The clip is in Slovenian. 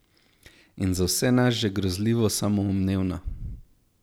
In za vse nas že grozljivo samoumevna.